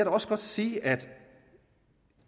også godt sige at